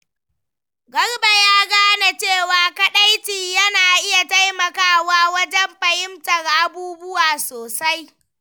Garba ya gane cewa kadaici na iya taimakawa wajen fahimtar abubuwa sosai.